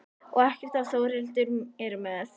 Og ekkert ef Þórhildur er með.